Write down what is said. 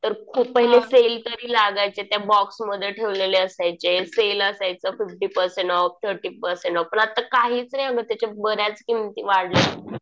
तर खूप पहिले सेल तरी लागायचे. त्या बॉक्समध्ये ठेवलेले असायचे. सेल असायचं fifty percent off, thirty percent off. पण आता काहीच नाही अगं. त्याच्या बऱ्याच किमती वाढल्यात.